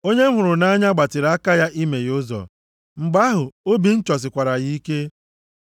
Onye m hụrụ nʼanya gbatịrị aka ya imeghe ụzọ, mgbe ahụ, obi m chọsikwara ya ike.